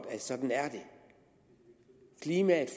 at sådan er det klimaet